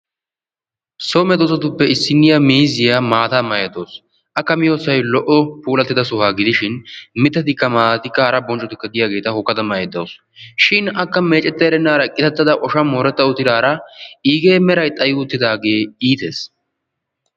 So medosatuppe issinniya miizziya maataa maayda dawusu. Akka miyiyosay lo''o puulattida sohuwa gidishin miittatikka maataatikka haaratikka bonccotikka deiyageta hokkada maaydda de'awusu, shin akka meecetta erennaara qitattada oshan mooretta uttidara iigee meeray xaayi uttidage ittees.